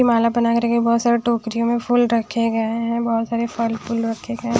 माला बना कर के बहुत सारे टोकरियों में फूल रखे गए हैं बहुत सारे फल फूल रखे गए हैं।